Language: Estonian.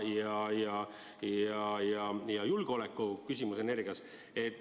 See on ka julgeoleku küsimus.